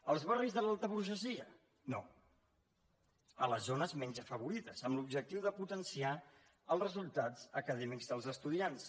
als barris de l’alta burgesia no a les zones menys afavorides amb l’objectiu de potenciar els resultats acadèmics dels estudiants